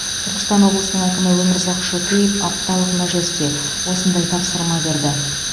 түркістан облысының әкімі өмірзақ шөкеев апталық мәжілісте осындай тапсырма берді